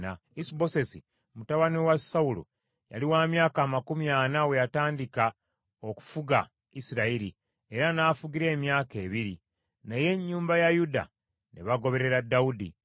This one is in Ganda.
Isubosesi, mutabani wa Sawulo yali wa myaka amakumi ana we yatandika okufuga Isirayiri, era n’afugira emyaka ebiri. Naye ennyumba ya Yuda ne bagoberera Dawudi.